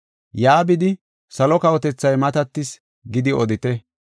Yaa bidi, ‘Salo kawotethay matatis’ gidi odite.